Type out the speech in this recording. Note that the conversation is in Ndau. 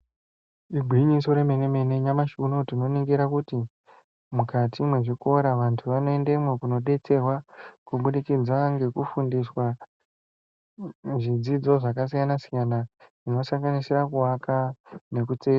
Igwinyiso remene nyamashi unowu tinoningira kuti mukati mezvikora vantu vono endemwo kuno detsererwa kubudikidza ngekufundiswa zvidzidzo zvakasiyana siyana zvinosanganisira luaka yekutsetsa.